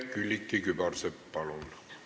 Külliki Kübarsepp, palun!